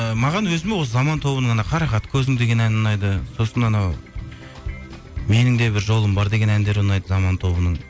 ы маған өзіме осы заман тобының анау қарақат көзім деген әні ұнайды сосын анау менің де бір жолым бар деген әндері ұнайды заман тобының